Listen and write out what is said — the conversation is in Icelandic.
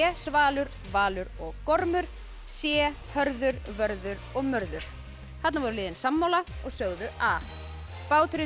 svalur Valur og gormur c Hörður Vörður og Mörður þarna voru liðin sammála og sögðu a báturinn